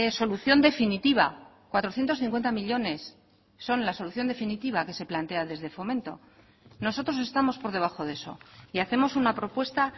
solución definitiva cuatrocientos cincuenta millónes son la solución definitiva que se plantea desde fomento nosotros estamos por debajo de eso y hacemos una propuesta